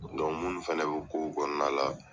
mun fana bɛ kow kɔnɔna la.